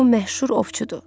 bu məşhur ovçudur.